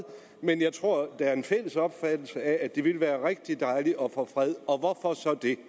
men jeg tror der er en fælles opfattelse af at det ville være rigtig dejligt at få fred og hvorfor så det